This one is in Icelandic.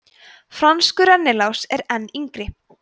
franskur rennilás er enn yngri